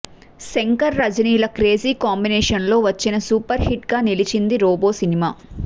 శంకర్ రజనీ ల క్రేజీ కాంబినేషన్లో వచ్చి సూపర్ హిట్ గా నిలిచింది రోబో సినిమా